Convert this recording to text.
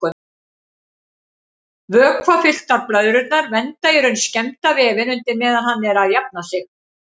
Vökvafylltar blöðrurnar vernda í raun skemmda vefinn undir meðan hann er að jafna sig.